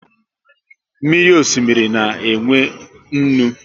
Mmiri osimiri na e nwe nnu